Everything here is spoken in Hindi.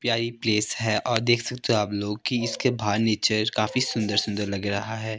प्यारी प्लेस है और देख सकते हो आप लोग के बाहर नीचे काफी सुंदर सुंदर लग रहा है।